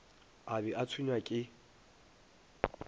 a be a tshwenywa ke